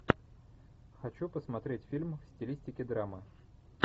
хочу посмотреть фильм в стилистике драма